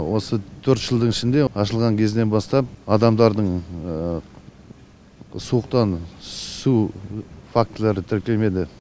осы төрт жылдың ішінде ашылған кезінен бастап адамдардың суықтан үсу фактілері тіркелмеді